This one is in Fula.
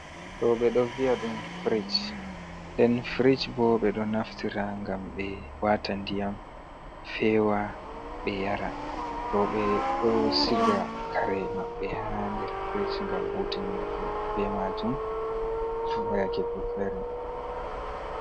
Ɗo ɗum ɗo vi'a ɗum frij. Nden frij bo ɓe ɗo naftira ngam ɓe wataa ndiyam, feewa, ɓe yara. Rooɓe ɗo siga kare maɓɓe haa nder frij ngam hutinirj be maajum haa yaake ko fere.